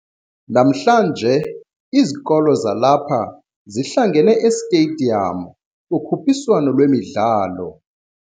Namhlanje izikolo zalapha zihlangene esitediyamu kukhuphiswano lwemidlalo.